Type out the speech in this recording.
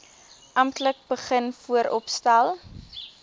amptelik begin vooropstel